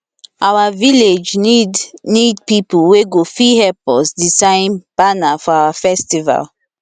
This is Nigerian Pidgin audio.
our village need need people wey go fit help us design banner for our festival